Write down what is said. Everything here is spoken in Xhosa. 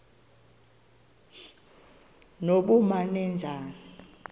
nobumanejala